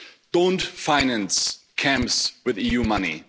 Don't finance camps with EU money.